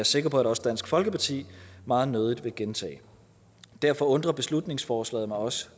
sikker på at også dansk folkeparti meget nødig vil gentage derfor undrer beslutningsforslaget mig også